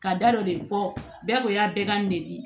Ka da dɔ de fɔ bɛɛ ko y'a bɛɛ ka nɛki